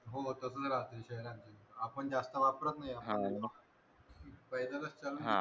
हो तसच राहते शहरात आपण जास्त वापरत नाही पायदल च चालून